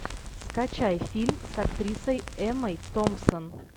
скачай фильм с актрисой эммой томпсон